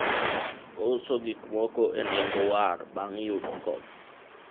ouso gik moko e nengo war bang' yudo kony